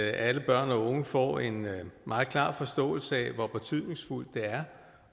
alle børn og unge får en meget klar forståelse af hvor betydningsfuldt det er